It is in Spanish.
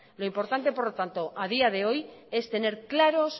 lo importante por lo tanto a día de hoy es tener claros